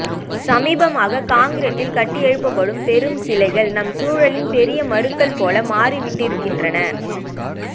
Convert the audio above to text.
சமீபமாக கான்கிரீட்டில் கட்டியெழுப்பப்படும் பெரும் சிலைகள் நம் சூழலின் பெரிய மருக்கள் போல மாறிவிட்டிருக்கின்றன